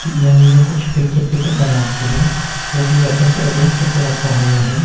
यहां में जो कुछ पैकेट पैकेट बना के है वो भी अच्छा से अड़ेंस करके रखा हुआ है।